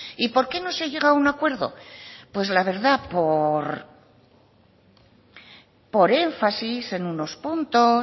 y por qué no se llega a un acuerdo pues la verdad por por énfasis en unos puntos